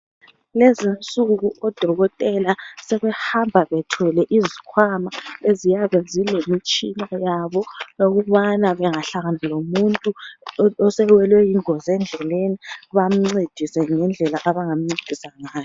lezi insuku odokotela sebehamba bethwele izikwama eziyabe zilemitshina yabo yokubana bengahlangana lomuntu osewelwe yingozi endleleni bamncedise ngendlela abangamncedisa ngayo